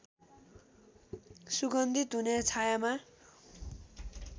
सुगन्धित हुने छायाँमा